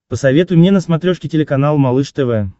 посоветуй мне на смотрешке телеканал малыш тв